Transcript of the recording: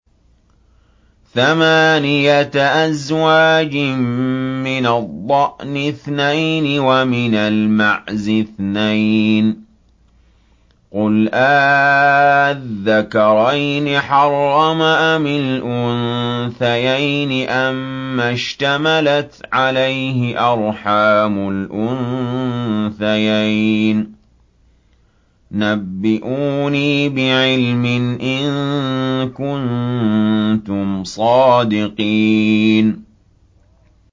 ثَمَانِيَةَ أَزْوَاجٍ ۖ مِّنَ الضَّأْنِ اثْنَيْنِ وَمِنَ الْمَعْزِ اثْنَيْنِ ۗ قُلْ آلذَّكَرَيْنِ حَرَّمَ أَمِ الْأُنثَيَيْنِ أَمَّا اشْتَمَلَتْ عَلَيْهِ أَرْحَامُ الْأُنثَيَيْنِ ۖ نَبِّئُونِي بِعِلْمٍ إِن كُنتُمْ صَادِقِينَ